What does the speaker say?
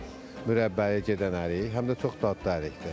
Mürəbbəyə gedən ərik, həm də çox dadlı ərikdir.